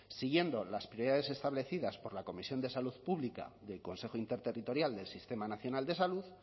siguiendo las prioridades establecidas por la comisión de salud pública del consejo interterritorial del sistema nacional de salud